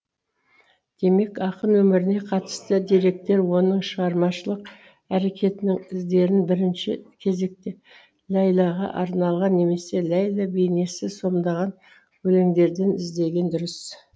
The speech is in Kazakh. демек ақын өміріне қатысты деректер оның шығармашылық әрекетінің іздерін бірінші кезекте ләйләға арналған немесе ләйлә бейнесі сомдаған өлеңдерден іздеген дұрыс